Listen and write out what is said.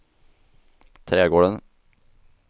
trädgården